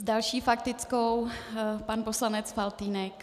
S další faktickou pan poslanec Faltýnek.